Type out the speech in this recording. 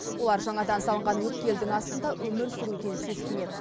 олар жаңадан салынған өткелдің астында өмір сүруден сескенеді